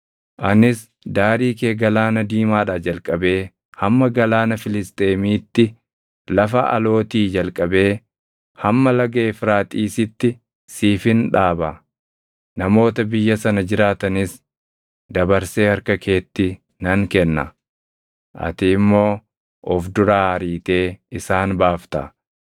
“Anis daarii kee Galaana Diimaadhaa jalqabee hamma Galaana Filisxeemiitti, lafa alootii jalqabee hamma Laga Efraaxiisiitti siifin dhaaba. Namoota biyya sana jiraatanis dabarsee harka keetti nan kenna; ati immoo of duraa ariitee isaan baafta.